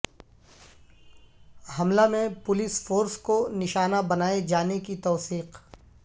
حملہ میں police force کو نشانہ بنائے جانے کی توثیق